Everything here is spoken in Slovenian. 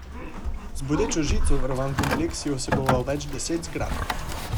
Z bodečo žico varovan kompleks je vseboval več deset zgradb.